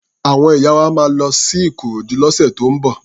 Àwọn ìyá wa máa lọ sí Ikorodu lọ́sẹ̀ tó ń bọ̀.